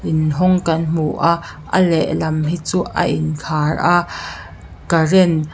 in hawng kan hmu a a lehlam hi chu a in khar a current --